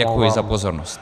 Děkuji za pozornost.